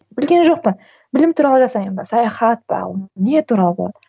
білген жоқпын білім туралы жасаймын ба саяхат па ол не туралы болады